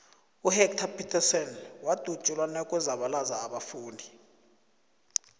uhector peterson wadutsulwa nakuzabalaza abafundi